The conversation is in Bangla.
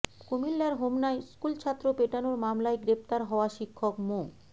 কুমিল্লার হোমনায় স্কুলছাত্র পেটানোর মামলায় গ্রেফতার হওয়া শিক্ষক মো